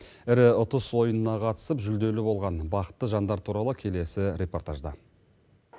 ірі ұтыс ойынына қатысып жүлделі болған бақытты жандар туралы келесі репортажда